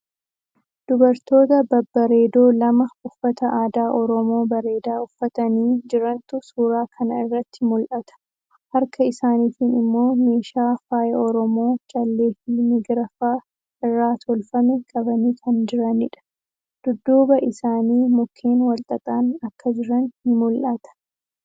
Dubartoota babbareedoo lama uffata aadaa Oromoo bareedaa uffatanii jirantu suuraa kana irratti mul'ata. Harka isaaniitiin immoo meeshaa faaya Oromoo callee fii migira fa'a irraa tolfame qabanii kan jiraniidha. Dudduuba isaanii mukkeen walxaxaan akka jiran ni mul'ata.